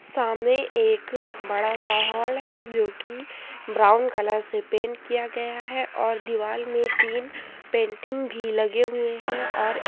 सामने एक बड़ा सा हॉल है जोकि ब्राउन कलर से पेंट किया गया है और दीवाल में तिन पेंटिंग भी लगे हुएं हैं और ए --